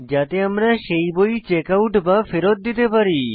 যাতে আমরা সেই বই চেকআউট বা ফেরৎ দিতে পারি